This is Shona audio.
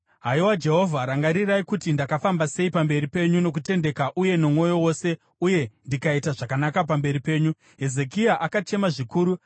“Haiwa Jehovha, rangarirai kuti ndakafamba sei pamberi penyu nokutendeka uye nomwoyo wose uye ndikaita zvakanaka pamberi penyu.” Hezekia akachema zvikuru.